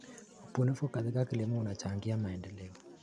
Ubunifu katika kilimo unachangia maendeleo.